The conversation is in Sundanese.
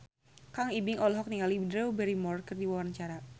Kang Ibing olohok ningali Drew Barrymore keur diwawancara